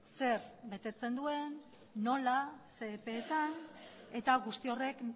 zer betetzen duen nola zein epeetan eta guzti horrek